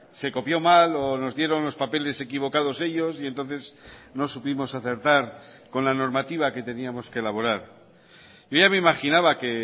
se copió mal o nos dieron los papeles equivocados ellos y entonces no supimos acertar con la normativa que teníamos que elaborar yo ya me imaginaba que